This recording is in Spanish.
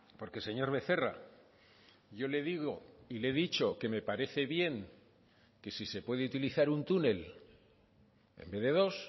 porque señor becerra yo le digo y le he dicho que me parece bien que si se puede utilizar un túnel en vez de dos